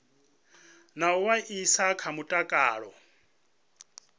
na u vhaisala kha mutakalo